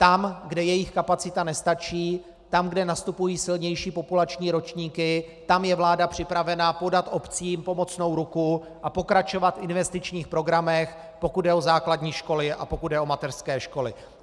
Tam, kde jejich kapacita nestačí, tam, kde nastupují silnější populační ročníky, tam je vláda připravena podat obcím pomocnou ruku a pokračovat v investičních programech, pokud jde o základní školy a pokud jde o mateřské školy.